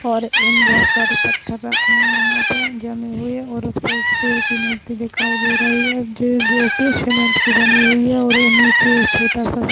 और एम बहुत सारे पत्थर रखे है यहाँ पे जमे हुए और उसपे एक शेर की मूर्ति दिखाई दे रही है जी जो की सीमेंट की बनी हुई है और वो नीचे छोटा सा--